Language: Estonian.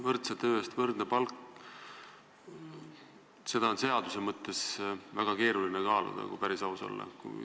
Võrdse töö eest võrdne palk – seda on seaduse mõttes väga keeruline kaaluda, kui päris aus olla.